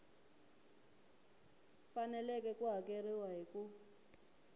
faneleke ku hakeriwa hi ku